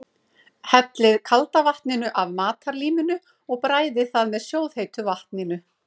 Hellið kalda vatninu af matarlíminu og bræðið það með sjóðheitu vatninu.